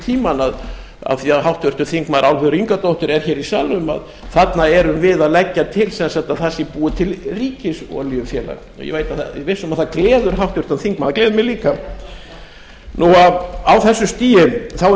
tímann af því að háttvirtir þingmenn álfheiður ingadóttir er hér í salnum að þarna erum við að leggja til sem sagt að það sé búið til ríkisolíufélag og ég er viss um að það gleður háttvirtan þingmann það gleður mig líka á þessu stigi þá er